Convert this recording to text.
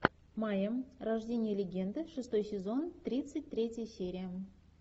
майя рождение легенды шестой сезон тридцать третья серия